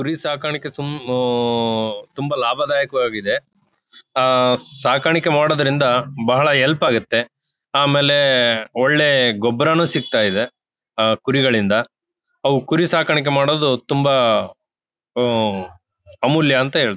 ಕುರಿ ಸಾಕಾಣಿಕೆ ತುಂಬಾ ಸುಮ್ ಆಹ್ಹ್ ತುಂಬಾ ಲಾಭದಾಯಕವಾಗಿದೆ ಆಹ್ಹ್ ಸಾಕಾಣಿಕೆ ಮಾಡುವುದರಿಂದ ಬಹಳ ಹೆಲ್ಪ್ ಆಗತ್ತೆ. ಆಮೇಲೆ ಒಳ್ಳೇ ಗೊಬ್ಬರಾನು ಸಿಕ್ತಾ ಇದೆ ಕುರಿಗಳಿಂದ ನಾವು ಕುರಿ ಸಾಕಾಣಿಕೆ ಮಾಡೋದು ತುಂಬಾ ಆಹ್ಹ್ ಅಮೂಲ್ಯ ಅಂತ ಹೇಳತ್ತೇ.